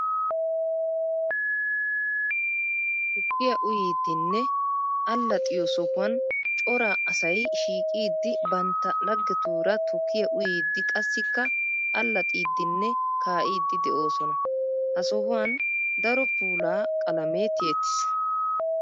Tukkiya uyiddinne alaxxiyo sohuwan cora asay shiiqiddi bantta laggettura tukkiya uyiddi qassikka alaxxidinne kaa'iddi de'osonna. Ha sohuwan daro puula qalame tiyettis.